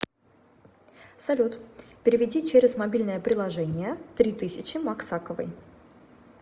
салют переведи через мобильное приложение три тысячи максаковой